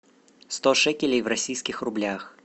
сто шекелей в российских рублях